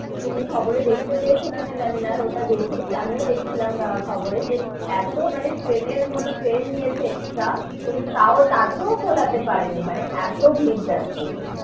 তুমি খবর এ দেখতে পেয়েছো কি না, জানি না, ওটা দেখি আমিও দেখছিলাম খবরে যে এতো মানে ট্রেন এর মধ্যে ট্রেন দিয়েছে extra কিন্তু তাও, তাতেও কলাতে পারে নি, মানে এতো ভিড় যাচ্ছিলো,